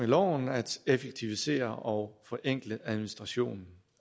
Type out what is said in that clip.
loven at effektivisere og forenkle administrationen